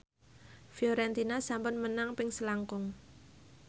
Fiorentina sampun menang ping selangkung